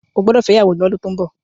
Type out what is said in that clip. o gbódò fè ìyàwó l'ọdun tó ń bó!